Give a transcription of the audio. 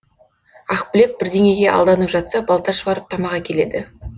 ақбілек бірдеңеге алданып жатса балташ барып тамақ әкеледі